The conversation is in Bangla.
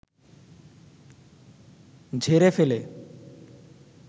ঝেরে ফেলে